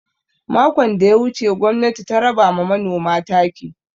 Makon da ya wuce gwamnati ta raba ma manoma taki.